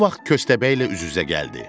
Bu vaxt köstəbək elə üz-üzə gəldi.